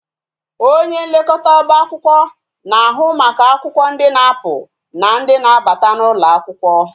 Onye nlekọta oba akwụkwọ na-ahụ maka akwụkwọ ndi na-apụ na ndị na-abata n'ụlọ akwụkwọ